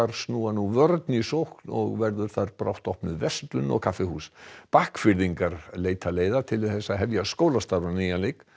snúa nú vörn í sókn og verður þar brátt opnuð verslun og kaffihús leita leiða til að hefja skólastarf á nýjan leik